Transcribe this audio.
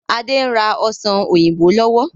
Adé ń rà ọ́ṣán òyìnbó lọ́wọ́.